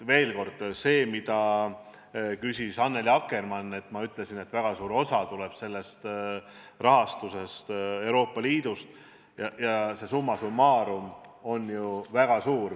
Veel kord, see, mida küsis Annely Akkermann – ma ütlesin, et väga suur osa rahast tuleb Euroopa Liidust ja see hulk on summa summarum väga suur.